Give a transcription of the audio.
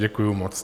Děkuju moc.